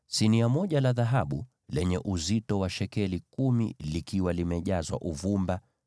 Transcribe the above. sinia moja la dhahabu lenye uzito wa shekeli kumi, likiwa limejazwa uvumba;